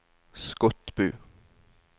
Skotbu